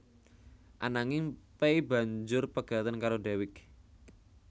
Ananging Pay banjur pegatan karo Dewiq